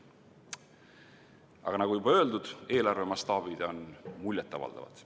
Aga nagu juba öeldud, eelarve mastaabid on muljet avaldavad.